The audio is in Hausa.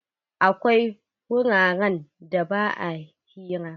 Akwai wuraren da ba a hira.